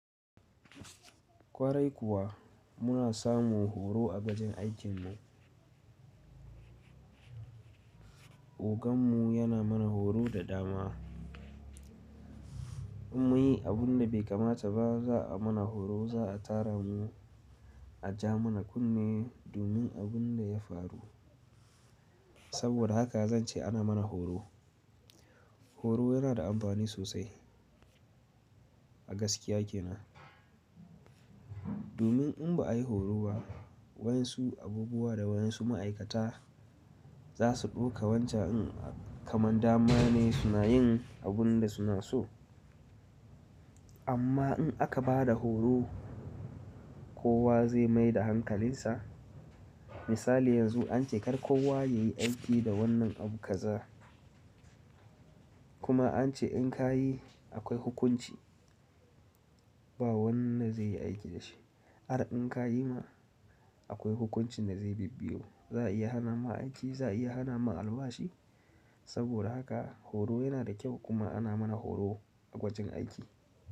Kwarai kuwa muna samun horo a wajen aikin nan. Ogan mu yana mana horo da dama. In muyi abunda bai kamata ba za a mana horo, za a tara mu, a ja mana kunne domin abunda ya faru. Saboda haka zan ce ana mana horo. Horo yana da amfani sosai a gaskiya ke nan. Domin in ba ayi horo ba, wayansu abubuwa da wayansu ma'aikata za su ɗauka wancan in kaman dama ne suna yin abunda suna so. Amma in aka bada horo, kowa zai maida hankalinsa. Misali yanzu an ce kar kowa yayi aiki da wannan abu kaza. Kuma an ce in ka yi akwai hukunci. Ba wannan zai yi aiki da shi. Har in ka yi ma akwai hukuncin da zai bibiyo. Za a iya hana ma aiki, za a iya hana ma albashi. Saboda haka horo yana da kyau kuma ana mana horo a gwajin aiki.